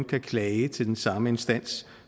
kan klage til den samme instans